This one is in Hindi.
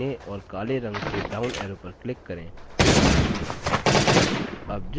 name box के दाहिने ओर काले रंग के down arrow पर click करें